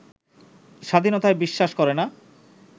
স্বাধীনতায় বিশ্বাস করেনা